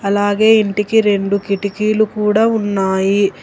అలాగే ఇంటికి రెండు కిటికీలు కూడా ఉన్నాయి.